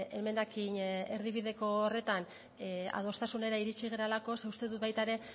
emendakin erdibideko horretan adostasunera iritsi garelako ze uste dut baita ere